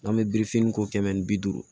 N'an bɛ birifini ko kɛmɛ ni bi duuru